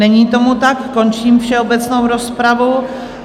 Není tomu tak, končím všeobecnou rozpravu.